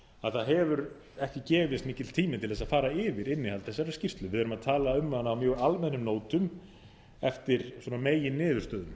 að það hefur ekki gefist mikill tími til þess að fara yfir innihald þessarar skýrslu við erum að tala um hana á mjög almennum nótum eftir meginniðurstöðum